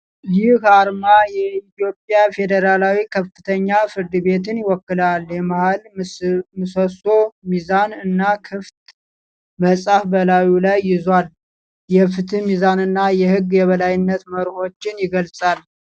ይህ አርማ የኢትዮጵያ ፌዴራል ከፍተኛ ፍርድ ቤትን ይወክላል። የመሃል ምሰሶ፣ ሚዛን እና ክፍት መጽሐፍ በላዩ ላይ ይዟል። የፍትህ ሚዛንና የህግ የበላይነት መርሆዎችን ይገልጻል።